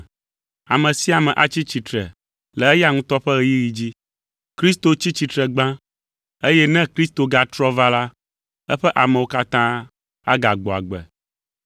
Ame sia ame atsi tsitre le eya ŋutɔ ƒe ɣeyiɣi dzi: Kristo tsi tsitre gbã eye ne Kristo gatrɔ va la, eƒe amewo katã agagbɔ agbe.